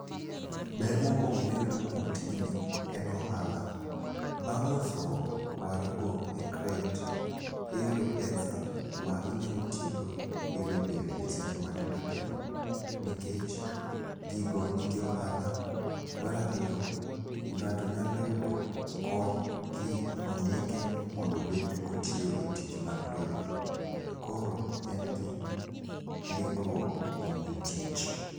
Ber mokwongo miyudo kuom tijni en ohala. Bang' uso warugo e crate, iyudo pesa ma inyalo tiyogo pile pile e seche matindo tindo, nikech gigo nigi ohala. Mar ariyo, ng'ato nyalo yudo kony kondike mondo obed kotiyo e tich mar lorigo. Koro en gi ndikruok kuom jotich.